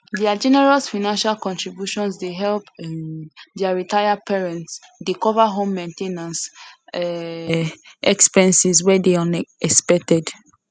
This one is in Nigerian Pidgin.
their generous financial contribution dey help um their retired parents dey cover home main ten ance um expenses wey dey unexpected